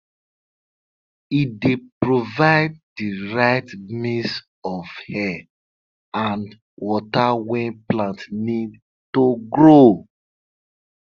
e dey provide di right mix of air and water wey plants need to grow